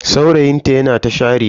Saurayin ta yana ta share ta.